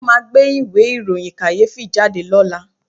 Wọ́n máa gbé ìwé ìròyìn kàyéfì jáde lọ́la